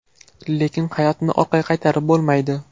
Lekin hayotni orqaga qaytarib bo‘lmaydi.